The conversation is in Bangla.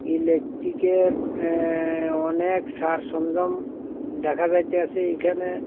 ইলেকট্রিক -এর অ্যাঁ অনেক সারসংজম দেখা যাইতাসে এইখানে।